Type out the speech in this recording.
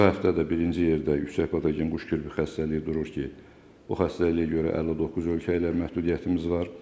Bu həftə də birinci yerdə yüksək patogen quş qripi xəstəliyi durur ki, o xəstəliyə görə 59 ölkə ilə məhdudiyyətimiz var.